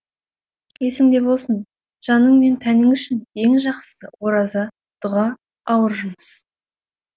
есіңде болсын жаның мен тәнің үшін ең жақсысы ораза дұға ауыр жұмыс